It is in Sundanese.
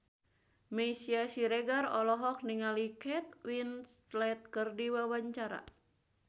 Meisya Siregar olohok ningali Kate Winslet keur diwawancara